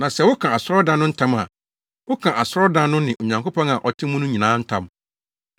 na sɛ woka asɔredan no ntam a, woka asɔredan no ne Onyankopɔn a ɔte mu no nyinaa ntam.